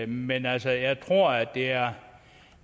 men altså jeg tror at det er